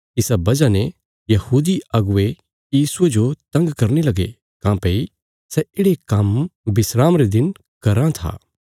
इसा बजह ने यहूदी अगुवे यीशुये जो तंग करने लगे काँह्भई सै येढ़े काम्म विस्राम रे दिन कराँ था